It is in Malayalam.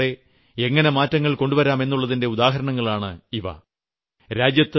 പൊതുജന സഹകരണത്തോടെ എങ്ങനെ മാറ്റങ്ങൾ കൊണ്ട് വരാം എന്നുളളതിന്റെ ഉദാഹരണങ്ങളാണ് ഇവ